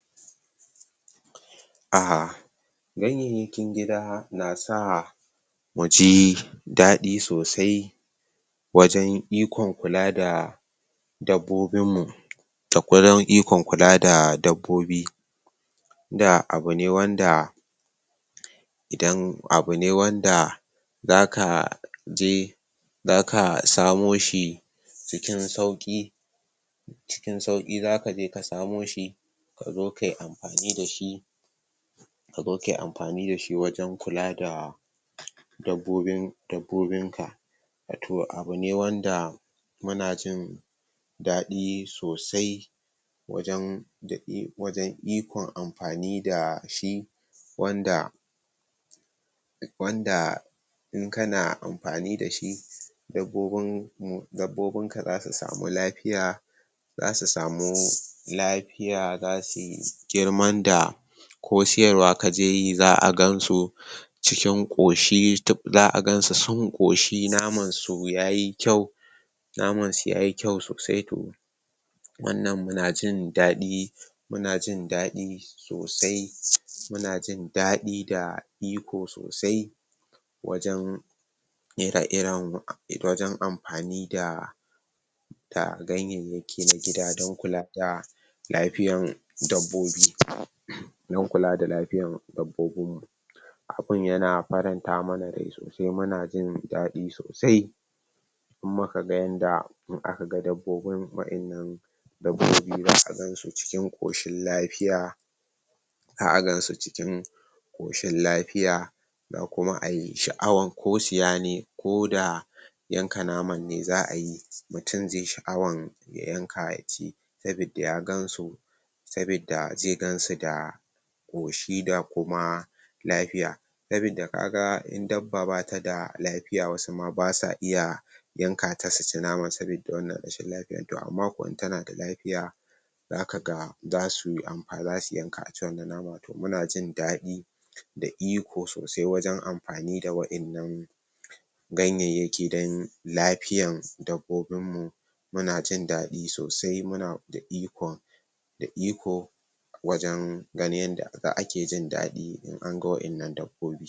um Gayyanyenki na gida na sa waje dadi sosai wajen ikon kula da dabbobin mu da gurin ikon kula da dabbobi abu ne wanda idan abu ne wanda zakaje zaka samo shi cikin sauki cikin sauki zaka je ka samo shi kazo kayi amfani da shi kazo kayi amfani da shi wajen kula da dabbobin ka toh abune wanda muna jindadi sosai wajen ikon amfani da shi wanda wanda in kana amfani da shi dabbobin ka sazu samu lafiya zasu samu lafiya zasuyi girman da ko siyar wa ka je yi za'a gansu cikin koshi za'a gansu sun koshi naman su yayi kyau naman su yayi kyau sosai toh wannan mun jin daɗi muna jin daɗi sosai muna jin daɗi da iko sosai wajen ire-iren wajen amfani da da gayyenyaki na gida don kula da lafiyan dabbobi dan kula da lafiyan dabbabobin mu abun yana farnta mana rai sosai muna jin daɗi sosai in muka ga yanda aka aka ga dabbobin waɗanan dadbbobi in aka gansu cikin koshin lafiya zaka gansu cikin koshin lafiya a yi sha'awan ko siya ne ko da yanka naman ne za ayi mutum zai yi sha'awan ya yanka ya ci saboda ya gansu saboda zai gansu da da koshi da kuma lafiya saboda kaga in dabba bata da lafiya wasu ma basa iya yanka ta su ci naman saboda wannan rashin lafiyan amma ko in tana da lafiya zaka kaga zasu zasu yanka a ci wannan naman toh muna jind daɗi da iko soasi wajen amfani da wadannan gayyenyaki dan lafiyan dabbobin mu muna jin daɗi sosai muna da ikon da iko wan ganin yadda ake jin daɗin in an ga wadannan dabbobi